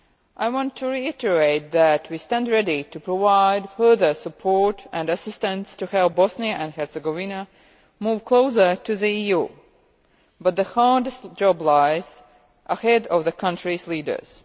I want to reiterate that we stand ready to provide further support and assistance to help Bosnia and Herzegovina move closer to the EU, but the hardest job lies ahead of the country's leaders.